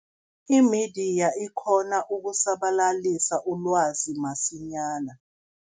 Imediya ikghona ukusabalalisa ilwazi msinyana.